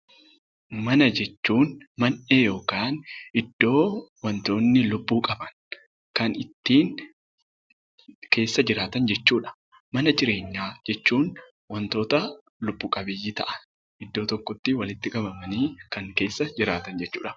Mana jechuun man'ee yookaan iddoo wantoonni yookaan wantoonni lubbuu qaban kan keessa jiraatan jechuudha. Mana jireenyaa jechuun wantoota lubbu qabeeyyii ta'an iddoo tokkotti qabamanii kan keessa jiraatan jechuudha.